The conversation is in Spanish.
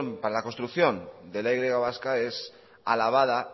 para la construcción de la y vasca es alabada